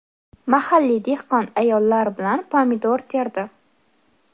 mahalliy dehqon ayollar bilan pomidor terdi.